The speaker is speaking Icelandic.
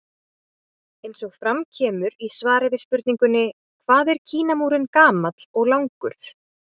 Eins og fram kemur í svari við spurningunni Hvað er Kínamúrinn gamall og langur?